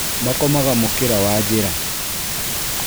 Makomaga mũkĩra wa njĩra